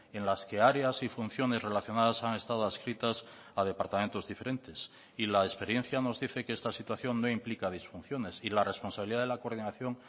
en las que áreas y funciones relacionadas han estado adscritas a departamentos diferentes y la experiencia nos dice que esta situación no implica disfunciones y la responsabilidad de la coordinación